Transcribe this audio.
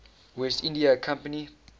west india company